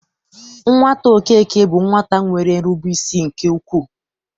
Nwata Okeke bụ nwata nwere nrubeisi nke ukwu.